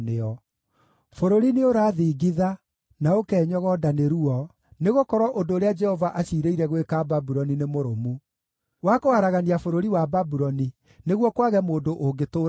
Bũrũri nĩũrathingitha na ũkenyogonda nĩ ruo, nĩgũkorwo ũndũ ũrĩa Jehova aciirĩire gwĩka Babuloni nĩ mũrũmu: wa kũharagania bũrũri wa Babuloni nĩguo kwage mũndũ ũngĩtũũra kuo.